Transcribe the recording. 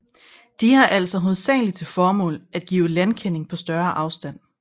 De har altså hovedsaglig til formål at give landkending på større afstand